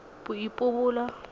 boipobolo